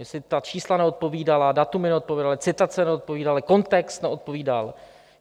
Jestli ta čísla neodpovídala, data neodpovídala, citace neodpovídaly, kontext neodpovídal?